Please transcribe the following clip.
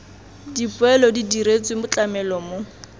dipoelo di diretswe tlamelo mo